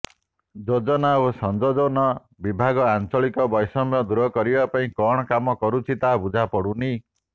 ଯୋଜନା ଓ ସଂଯୋଜନ ବିଭାଗ ଆଞ୍ଚଳିକ ବୈଷମ୍ୟ ଦୂର କରିବା ପାଇଁ କଣ କାମ କରୁଛି ତାହା ବୁଝାପଡ଼ୁନି